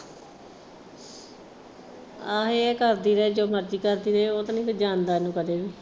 ਆਹੋ ਇਹ ਕਰਦੀ ਰਹੇ ਜੋ ਮਰਜੀ ਕਰਦੀ ਰਹੇ ਉਹ ਤਾਂ ਨਹੀ ਕੁਝ ਜਾਣਦਾ ਉਹਨੂੰ ਕਦੇ ਵੀ।